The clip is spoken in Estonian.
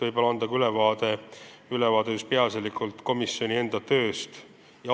Nii et annan ülevaate peaasjalikult komisjoni enda tööst.